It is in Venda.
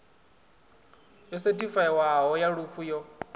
yo sethifaiwaho ya lufu yo